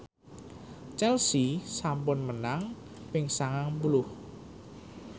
Chelsea sampun menang ping sangang puluh